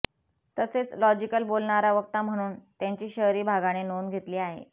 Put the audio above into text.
तसेच लॉजिकल बोलणारा वक्ता म्हणून त्यांची शहरी भागाने नोंद घेतली आहे